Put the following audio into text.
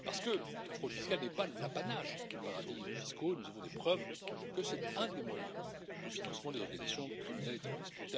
En effet, la fraude fiscale n'est pas l'apanage des paradis fiscaux, et nous avons des preuves que c'est un des moyens de financement des organisations criminelles et terroristes.